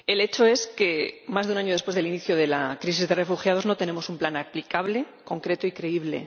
Señor Presidente, el hecho es que, más de un año después del inicio de la crisis de refugiados, no tenemos un plan aplicable, concreto y creíble.